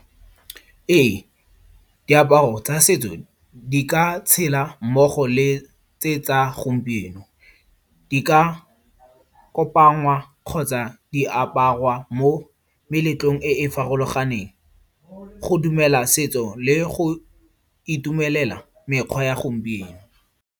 Ee, diaparo tsa setso di ka tshela mmogo le tse tsa gompieno. Di ka kopangwa kgotsa di aparwa mo meletlong e e farologaneng. Go dumela setso le go itumelela mekgwa ya gompieno.